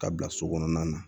Ka bila so kɔnɔna na